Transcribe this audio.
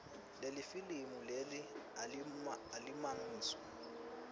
lelifilimu leli alimagniso